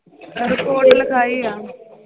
report ਲਿਖਾਈ ਆ l